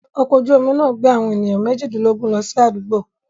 Ọkọ̀ ojú-omi náà gbé àwọn ènìyàn méjìdínlógún lọ sí àdúgbò